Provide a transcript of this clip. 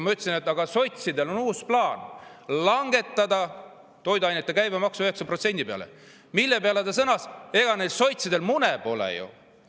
" Ma ütlesin, et sotsidel on uus plaan langetada toiduainete käibemaks 9% peale, mille peale proua sõnas: "Ega neil sotsidel mune pole ju!